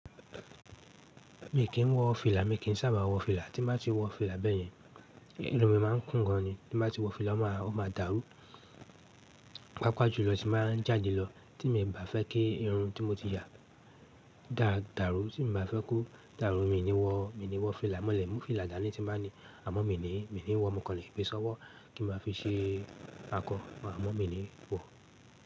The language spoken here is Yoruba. Mi kì í wọ fìlà, mi kì í sábà wọ fìlà. Tí bá ti wọ fìlà bẹ́ẹ̀ yẹn, inú mi máa ń kún gan ni. Tí bá ti wọ fìlà, ó máa dàrú. Pápàá jùlọ tí màá jáde lọ tí mi ò bá fẹ́ kí irun tí mo ti ya dàrú, tí mi ò bá fẹ́ kó dàrú, mi ò ní wọ, mi ò ní wọ fìlà. Mọ́lẹ̀ mú fìlà dání tí bá ni. Àmọ́ mi ò ní, mi ò ní wọ, mo kàn le gbe sọ́wọ́ kí n máa fi ṣe akọ. Àmọ́ mi ò ní wọ.